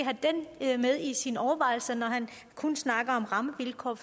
have i sine overvejelser når han kun snakker om rammevilkår